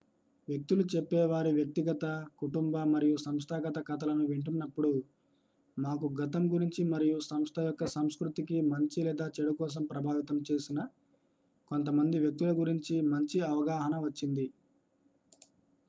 వ్యక్తులు చెప్పే వారి వ్యక్తిగత కుటుంబ మరియు సంస్థాగత కథలను వింటున్నప్పుడు మాకు గతం గురించి మరియు సంస్థ యొక్క సంస్కృతికి మంచి లేదా చెడు కోసం ప్రభావితం చేసిన కొంతమంది వ్యక్తుల గురించి మంచి అవగాహన వచ్చింది